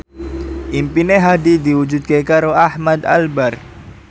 impine Hadi diwujudke karo Ahmad Albar